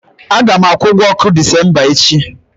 A ga m akwụ ụgwọ ọkụ Disemba echi.